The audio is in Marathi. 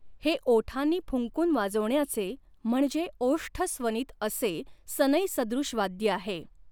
हे ओठांनी फुंकून वाजवण्याचे म्हणजे ओष्ठस्वनित असे सनईसदृश वाद्य आहे.